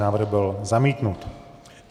Návrh byl zamítnut.